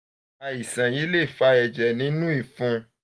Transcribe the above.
àìsàn um yìí lè fa ẹ̀jẹ̀ nínú ìfun àti ìrora ìfun